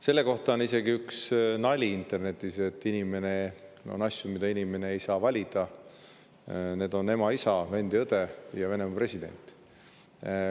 Selle kohta on internetis isegi üks nali, et on asju, mida inimene ei saa valida: need on ema, isa, vend ja õde ning Venemaa president.